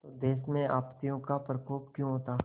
तो देश में आपत्तियों का प्रकोप क्यों होता